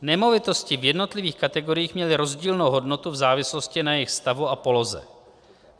Nemovitosti v jednotlivých kategoriích měly rozdílnou hodnotu v závislosti na jejich stavu a poloze.